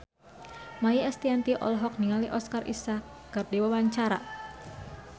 Maia Estianty olohok ningali Oscar Isaac keur diwawancara